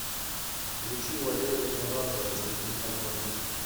включи валерия меладзе разведи огонь